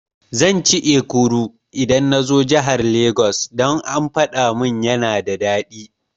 Zan ci Ekuru idan nazo jahar Lagos, dan an gayamin yana da daɗi